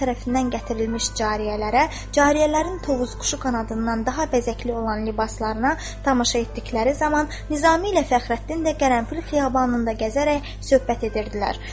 hər tərəfindən gətirilmiş cariyələrə, cariyələrin tovuz quşu qanadından daha bəzəkli olan libaslarına tamaşa etdikləri zaman Nizami ilə Fəxrəddin də Qərənfil xiyabanında gəzərək söhbət edirdilər.